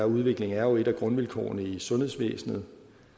udvikling er jo et af grundvilkårene i sundhedsvæsenet